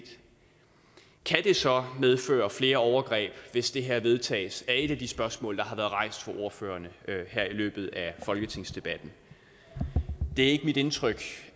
kan det så medføre flere overgreb hvis det her vedtages det er et af de spørgsmål der har været rejst af ordførerne her i løbet af folketingsdebatten det er ikke mit indtryk